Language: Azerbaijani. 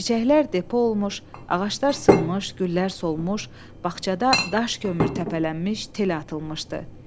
Çiçəklər depo olmuş, ağaclar sınmış, güllər solmuş, bağçada daş kömür təpələnmiş, tel atılmışdı.